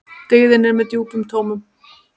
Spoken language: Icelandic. Dyggðin er með djúpum rótum.